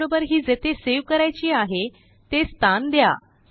त्याबरोबर ही जेथेसेव करायचीआहे ते स्थान दया